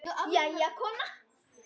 Jæja, kona.